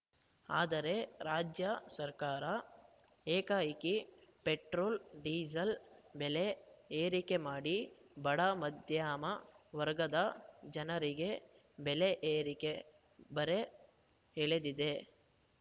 ಆದರೆ ರಾಜ್ಯ ಸರ್ಕಾರ ಏಕಾಏಕಿ ಪೆಟ್ರೋಲ್‌ ಡೀಸೆಲ್‌ ಬೆಲೆ ಏರಿಕೆ ಮಾಡಿ ಬಡ ಮಧ್ಯಮ ವರ್ಗದ ಜನರಿಗೆ ಬೆಲೆ ಏರಿಕೆ ಬರೆ ಎಳೆದಿದೆ